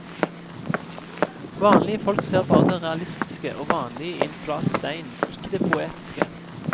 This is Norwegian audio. Vanlige folk ser bare det realistiske og vanlige i en flat stein, ikke det poetiske.